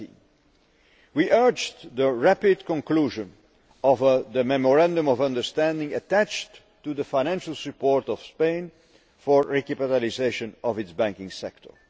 17. We urged the rapid conclusion of the Memorandum of Understanding attached to the financial support to Spain for recapitalisation of its banking sector.